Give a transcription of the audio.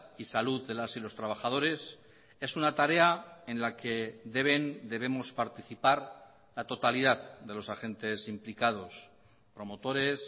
y salud de las y los trabajadores es una tarea en la que deben debemos participar la totalidad de los agentes implicados promotores